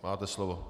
Máte slovo.